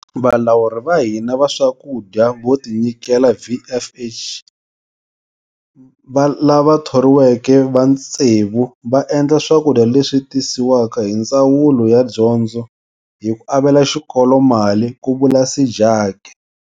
Valawuri va hina va swakudya vo tinyikela, VFH, lava thoriweke va tsevu va endla swakudya leswi tisiwaka hi Ndzawulo ya Dyondzo hi ku avela xikolo mali, ku vula Sejake.